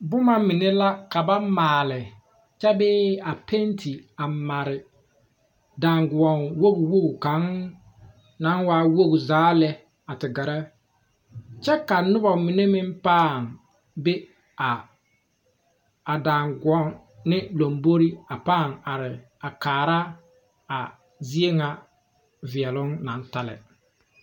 Buma mene la ka ba maale kye bee a penti a mari danguo wogi wogi kang meng nang waa wogi zaa le a te gere kye ka nuba mene meng paa be a danguoni lambore a paa arẽ a kaara a zeɛ nga veɛlon nang ta le.